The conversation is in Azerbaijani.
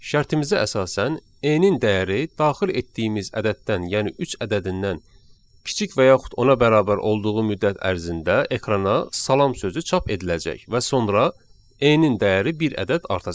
Şərtimizə əsasən, N-in dəyəri daxil etdiyimiz ədəddən, yəni üç ədədindən kiçik və yaxud ona bərabər olduğu müddət ərzində ekrana salam sözü çap ediləcək və sonra N-in dəyəri bir ədəd artacaq.